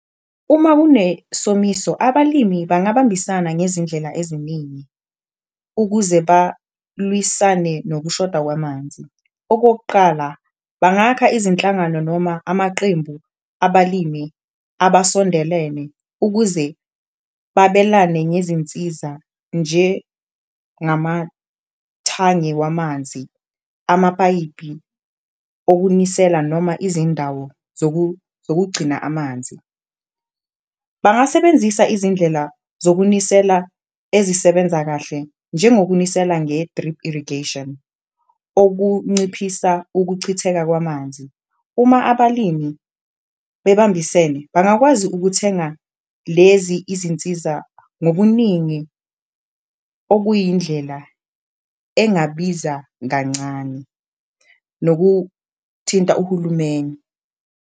Uma kunesomiso abalimi bangabambisana ngezindlela eziningi ukuze balwisane nokushoda kwamanzi, okokuqala bangakha izinhlangano noma amaqembu abalimi abasondelene ukuze babelane ngezinsiza njengamathange wamanzi, amapayipi okunisela noma izindawo zokugcina amanzi. Bangasebenzisa izindlela zokunisela ezisebenza kahle njengokunisela nge-drip irrigation okunciphisa ukuchitheka kwamanzi, uma abalimi bebambisene bangakwazi ukuthenga lezi izinsiza ngobuningi okuyindlela engabiza kancane, nokuthinta uhulumeni.